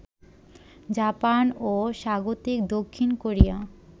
Japan ও স্বাগতিক দক্ষিণ কোরিয়া